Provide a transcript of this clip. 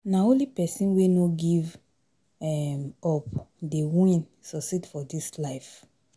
Nah only pesin wey no give um up dey win succeed for dis life